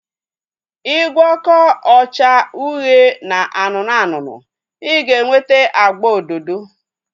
I gwọkọ ọcha uhie na anụnụ anụnụ, I ga-enweta agba ododo